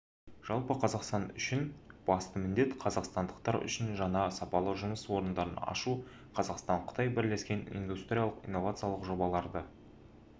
жалпы қазақстан үшін басты міндет қазақстандықтар үшін жаңа сапалы жұмыс орындарын ашу қазақстан-қытай бірлескен индустриялық-инновациялық жобаларды